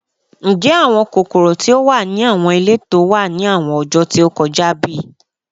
Njẹ awọn kokoro ti o wa ni awọn ileto wa ni awọn ọjọ ti o kọja bi?